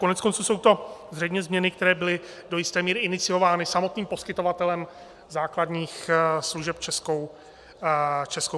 Koneckonců jsou to zřejmě změny, které byly do jisté míry iniciovány samotným poskytovatelem základních služeb - Českou poštou.